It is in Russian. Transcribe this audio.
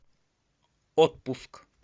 отпуск